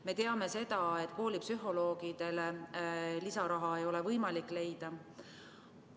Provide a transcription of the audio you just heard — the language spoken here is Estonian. Me teame seda, et koolipsühholoogidele ei ole võimalik lisaraha leida.